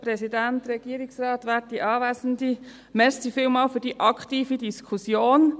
Vielen Dank noch einmal für die aktive Diskussion.